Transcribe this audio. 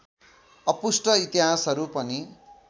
अपुष्ट इतिहासहरू पनि